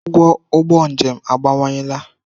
Ụgwọ ụgbọ njem abawanyela.